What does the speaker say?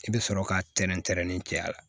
I bɛ sɔrɔ ka tɛrɛn tɛrɛn ni cɛya la